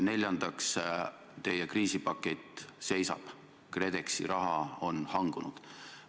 Neljandaks, teie kriisipakett seisab, KredExi raha on hangunud.